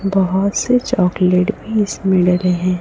बहोत से चॉकलेट भी इसमें डले रहे हैं।